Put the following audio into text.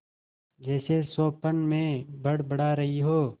जैसे स्वप्न में बड़बड़ा रही हो